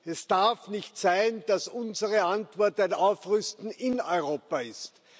Es darf nicht sein, dass unsere Antwort ein Aufrüsten in Europa ist.